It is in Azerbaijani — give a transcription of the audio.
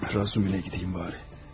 Razumihinə gedim heç olmasa.